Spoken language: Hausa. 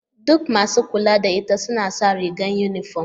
Duk masu kula da ita sun sa rigar yunifom.